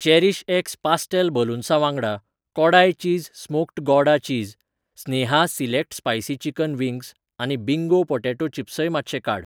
Cherish X pastel बलून्सां वांगडा, Kodai cheese smoked Gouda cheese, Sneha select spicy chicken wings आनी Bingo potato चिप्सय मातशें काड.